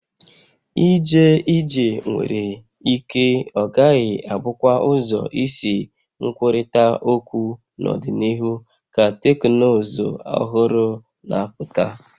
Ije ije nwere ike ọ gaghị abụkwa ụzọ isi nkwurịta okwu n'ọdịnihu ka teknụzụ ọhụrụ na-apụta